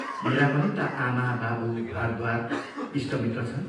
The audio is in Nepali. मेरा पनि ता आमा, बाबु, घरद्वारा, इष्टमित्र छन्।